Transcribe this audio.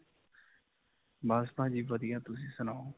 ਬਸ ਭਾਜੀ ਵਧੀਆ. ਤੁਸੀਂ ਸੁਣਾਓ?